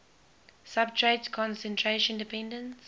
substrate concentration dependence